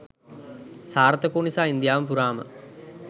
සාර්ථක වූ නිසා ඉන්දියාව පුරාම